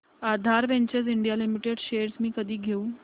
आधार ventures India limited shares मी कधी घेऊ